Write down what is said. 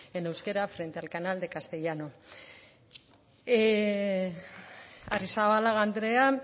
en euskera frente al canal de castellano arrizabalaga andrea